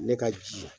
Ne ka ji